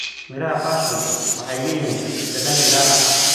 Miraha passion waxay leeyihiin dhadhan gaar ah.